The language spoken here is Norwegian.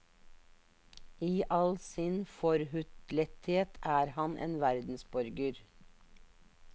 I all sin forhutlethet er han en verdensborger.